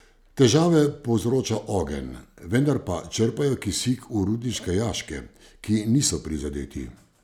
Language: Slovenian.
Težave povzroča ogenj, vendar pa črpajo kisik v rudniške jaške, ki niso prizadeti.